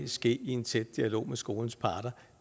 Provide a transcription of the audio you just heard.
ske i en tæt dialog med skolens parter